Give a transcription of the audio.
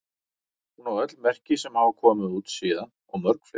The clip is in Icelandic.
Hún á öll merki sem hafa komið út síðan og mörg fleiri.